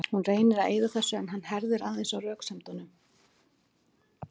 Hún reynir að eyða þessu en hann herðir aðeins á röksemdunum.